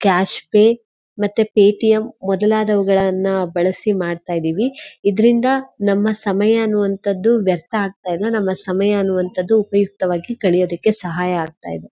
Cash pay ಮತ್ತೆ Paytm ಮೊದಲಾದವುಗಳನ್ನ ಬಳಸಿ ಮಾಡ್ತಾ ಇದೀವಿ ಇದ್ರಿಂದ ನಮ್ಮ ಸಮಯ ಅನ್ನುವಂತದ್ದು ವ್ಯರ್ಥ ಆಗ್ತಾ ಇಲ್ಲ ನಮ್ಮ ಸಮಯ ಅನ್ನುವಂತದ್ದು ಉಪಯುಕ್ತವಾಗಿ ಕಳಿಯೋದಕ್ಕೆ ಸಹಾಯ ಆಗ್ತಾ ಇದೆ.